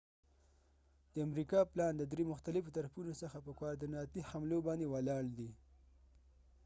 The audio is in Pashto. د امریکا پلان د دری مختلفو طرفونو څخه په کواریدیناتی حملو باندی ولاړ دی